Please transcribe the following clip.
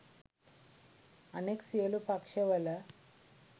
අනෙක් සියළු පක්ෂවල